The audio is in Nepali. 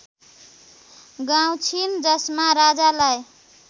गाउँछिन् जसमा राजालाई